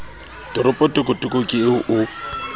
toropo tokotoko ke eo o